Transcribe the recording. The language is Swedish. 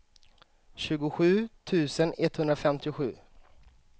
tjugosju tusen etthundrafemtiosju